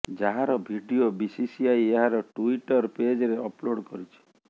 ଯାହାର video BCCI ଏହାର Twitter ପେଜରେ ଅପଲୋଡ୍ କରିଛି